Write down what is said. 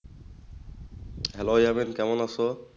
Hello Yamin কেমন আসো?